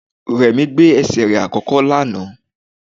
Rẹ̀mí gbé ẹsẹ̀ rẹ̀ àkọ́kọ́ lánàá